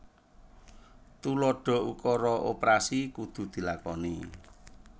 Tuladha ukara oprasi kudu dilakoni